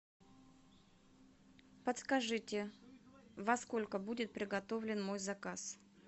подскажите во сколько будет приготовлен мой заказ